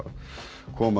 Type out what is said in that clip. koma